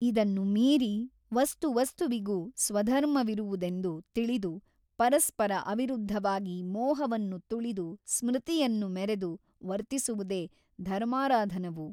ಇದನ್ನು ಮೀರಿ ವಸ್ತುವಸ್ತುವಿಗೂ ಸ್ವಧರ್ಮವಿರುವುದೆಂದು ತಿಳಿದು ಪರಸ್ಪರ ಅವಿರುದ್ಧವಾಗಿ ಮೋಹವನ್ನು ತುಳಿದು ಸ್ಮೃತಿಯನ್ನು ಮೆರೆದು ವರ್ತಿಸುವುದೇ ಧರ್ಮಾರಾಧನವು.